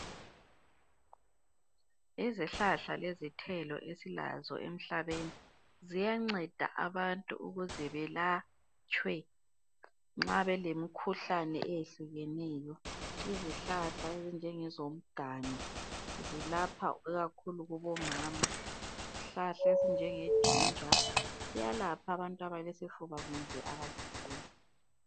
Izihlahla lezithelo esilazo emhlabeni ziyanceda abantu ukuzebelatshwe nxa belemikhuhlane eyehlukeneyo. Izihlahla ezinjengezomganu zilapha ikakhulu kubomama. Isihlahla esinjengeginger siyalapha abantu abalesifuba kumbe abaleflu.